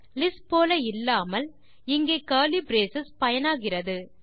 list போல இல்லாமல் இங்கே கர்லி பிரேஸ் பயனாகிறது